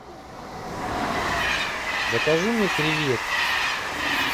закажи мне креветки